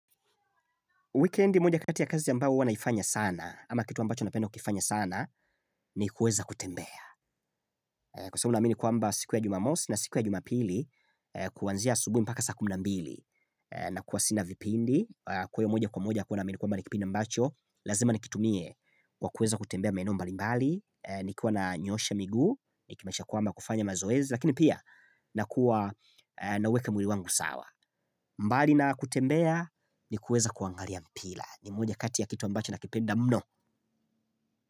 Wikendi moja kati ya kazi ambao huwa naifanya sana ama kitu ambacho napenda kukifanya sana ni kuweza kutembea. Kwa sababu naamini kwamba siku ya jumamosi na siku ya jumapili, kuanzia asubuhi mpaka saa kumi na mbili na kuwa sina vipindi kwa hiyo moja kwa moja huwa naamini kwamba ni kipindi ambacho lazima nikitumie, kwa kuweza kutembea maeneo mbalimbali nikiwa nanyoosha miguu, nikimaanisha kwamba kufanya mazoezi lakini pia nakuwa naweka mwili wangu sawa. Mbali na kutembea ni kuweza kuangalia mpira, ni moja kati ya kitu ambacho nakipenda mno.